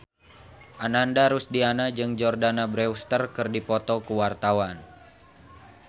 Ananda Rusdiana jeung Jordana Brewster keur dipoto ku wartawan